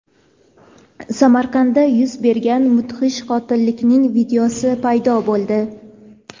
Samarqandda yuz bergan mudhish qotillikning videosi paydo bo‘ldi.